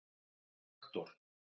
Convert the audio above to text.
Hektor